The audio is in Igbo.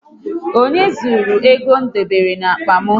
Onye zụrụru ego m debere n'akpa m?